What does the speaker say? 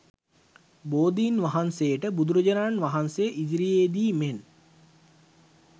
බෝධින් වහන්සේට බුදුරජාණන් වහන්සේ ඉදිරියේ දී මෙන්